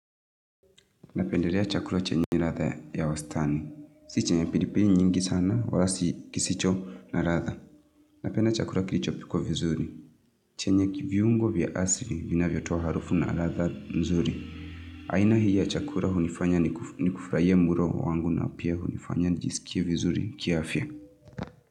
Napendelea chakula chenye radha ya wastani. Si chenye pilipili nyingi sana, wala si kisicho na radha. Napenda chakula kilichopikwa vizuri. Chenye viungo vya asili vinavyotoa harufu na radha nzuri. Aina hii ya chakula hunifanya nikufurahie mlo wangu na pia hunifanya nijisikie vizuri kiafya.